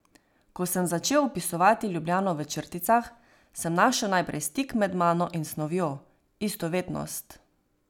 Ko sem začel opisovati Ljubljano v črticah, sem našel najprej stik med mano in snovjo, istovetnost.